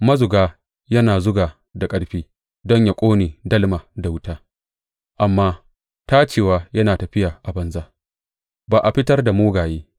Mazuga yana zuga da ƙarfi don yă ƙone dalma da wuta, amma tacewa yana tafiya a banza; ba a fitar da mugaye.